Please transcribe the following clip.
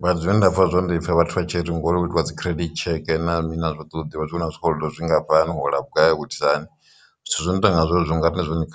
mara zwine nda pfa zwone ndi pfa vhathu vha tshi ri ngori hu itiwa dzi credit tsheke na mini na zwo to ḓivha zwi vhona zwikolodo zwingafhani hola vhugai u itisa hani zwithu zwi no tonga zwezwo nga riṋe zwone.